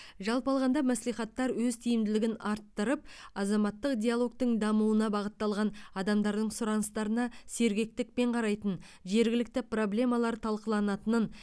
жалпы алғанда мәслихаттар өз тиімділігін арттырып азаматтық диалогтың дамуына бағытталған адамдардың сұраныстарына сергектікпен қарайтын жергілікті проблемалар талқыланатынын